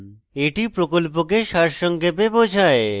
এটি প্রকল্পকে সারসংক্ষেপে বোঝায়